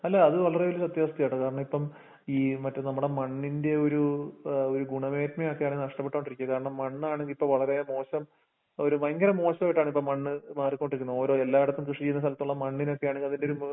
അല്ല അത് വളരെവല്യസത്യാവസ്ഥയാട്ടോ കാരണിപ്പം ഈ മറ്റെ നമ്മടെമണ്ണിന്റെയോര് ഏഹ് ഒരുഗുണമേത്മയൊക്കെ അതിന്നഷ്ട്ടപ്പെട്ടുകൊണ്ടിരിക്ക കാരണം മണ്ണാണിതിപ്പം വളരെ മോശം ഒര് ഭയങ്കരമോശായിട്ടാണിപ്പം മണ്ണ് മാറിക്കൊണ്ടിരിക്കുന്നത് ഓരോ എല്ലാടത്തും കൃഷിചെയുന്നസ്ഥലത്തുള്ള മണിനോക്കെയാണെങ്കിലതിൻ്റെയോര്